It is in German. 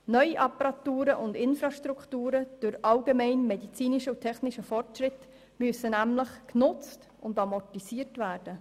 Neue Apparaturen und Infrastrukturen durch den allgemeinen und medizinischen Fortschritt müssen nämlich genutzt und amortisiert werden.